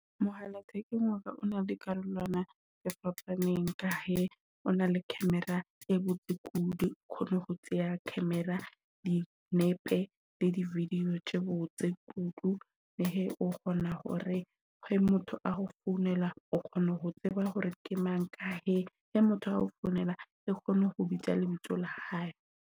Mohala thekeng waka o na le dikarolwana tse fapaneng ka he o na le camera e botse kudu. O kgona ho tseya camera di nepe video ke botse kudu. He o kgona hore he motho a ho founela o kgona ho tseba hore ke mang, ka he he motho o founela ke kgone ho bitsa lebitso la hae.